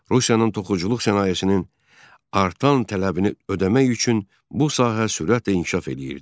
Rusiyanın toxuculuq sənayesinin artan tələbini ödəmək üçün bu sahə sürətlə inkişaf eləyirdi.